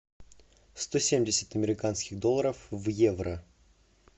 сто семьдесят американских долларов в евро